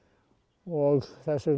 og